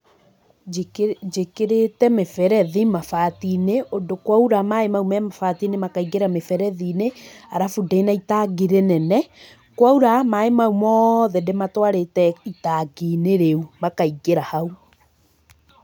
Njikĩ njĩkĩrĩte mĩberethi mabati-inĩ, ũndũ kwaura maĩ mau me mabati-inĩ makaingĩra mĩberethi-inĩ, arabu ndĩna itangi rĩnene, kwaura, maĩ mau mothe ndĩmatwarĩte itangi-inĩ rĩu, makaingĩra hau.